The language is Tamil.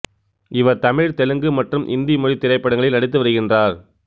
இவர் தமிழ் தெலுங்கு மற்றும் இந்தி மொழித் திரைப்படங்களில் நடித்து வருகின்றார்